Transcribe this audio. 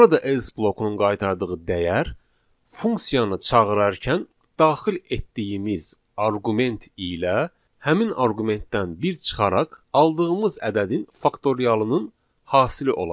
Burada else blokunun qaytardığı dəyər funksiyanı çağırarkən daxil etdiyimiz arqument ilə həmin arqumentdən bir çıxaraq aldığımız ədədin faktorialının hasili olacaq.